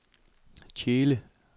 Tjele